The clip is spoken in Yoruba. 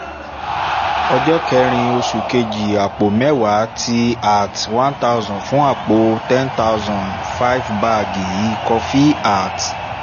ọjọ́ kerin oṣù kejì àpò mẹ́wàá tíí cs] at one thounsand àpò ten thousand five bag kọfí ]cs] at